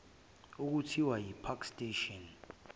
okuthiwa ipark station